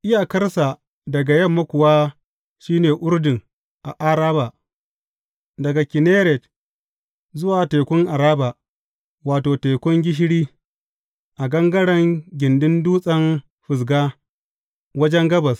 Iyakarsa daga yamma kuwa shi ne Urdun a Araba, daga Kinneret zuwa Tekun Araba wato, Tekun Gishiri a gangaren gindin Dutsen Fisga wajen gabas.